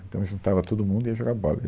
Então, juntava todo mundo e ia jogar bola.